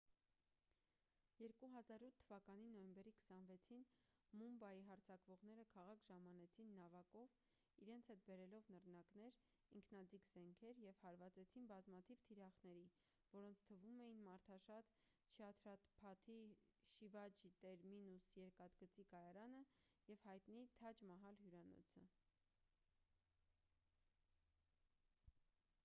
2008 թվականի նոյեմբերի 26-ին մումբայի հարձակվողները քաղաք ժամանեցին նավակով իրենց հետ բերելով նռնակներ ինքնաձիգ զենքեր և հարվածեցին բազմաթիվ թիրախների որոնց թվում էին մարդաշատ չհաթրափաթի շիվաջի տերմինուս երկաթգծի կայարանը և հայտնի թաջ մահալ հյուրանոցը